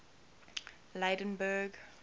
lydenburg